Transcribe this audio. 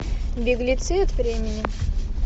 беглецы от времени